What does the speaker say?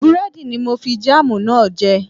Búrẹ́dì ni mo fi jáàmù náà jẹ